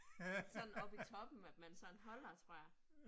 Det sådan oppe i toppen, at man sådan holder tror jeg